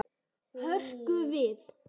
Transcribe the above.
Hrökk við.